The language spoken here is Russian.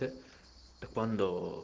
т теквандо